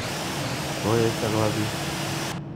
Koesio kopa piik.